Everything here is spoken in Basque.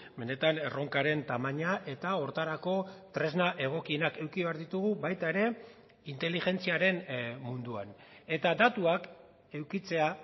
benetan erronkaren tamaina eta horretarako tresna egokienak eduki behar ditugu baita ere inteligentziaren munduan eta datuak edukitzea